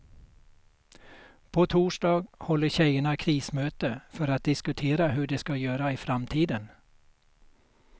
På torsdag håller tjejerna krismöte för att diskutera hur de ska göra i framtiden.